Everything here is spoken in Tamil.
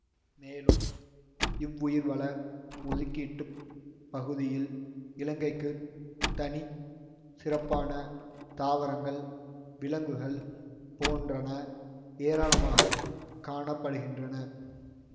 மேலும் இவ்வுயிர்வள ஒதுக்கீட்டுப் பகுதியில் இலங்கைக்குத் தனி சிறப்பான தாவரங்கள் விலங்குகள் போன்றன ஏராளமாக காண படுகின்றன